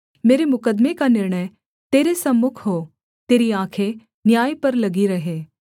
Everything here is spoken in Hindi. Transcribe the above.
मेरे मुकद्दमे का निर्णय तेरे सम्मुख हो तेरी आँखें न्याय पर लगी रहें